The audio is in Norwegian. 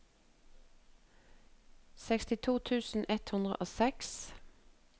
sekstito tusen ett hundre og seks